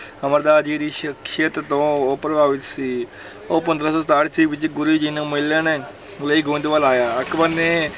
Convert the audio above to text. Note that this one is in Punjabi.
ਅਮਰਦਾਸ ਜੀ ਦੀ ਸ਼ਖਸੀਅਤ ਤੋਂ ਉਹ ਪ੍ਰਭਾਵਿਤ ਸੀ ਉਹ ਪੰਦਰਾਂ ਸੌ ਸਤਾਹਠ ਈਸਵੀ ਵਿੱਚ ਗੁਰੂ ਜੀ ਨੂੰ ਮਿਲਣ ਲਈ ਗੋਇੰਦਵਾਲ ਆਇਆ, ਅਕਬਰ ਨੇ